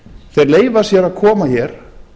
þeir leyfa sér að koma hér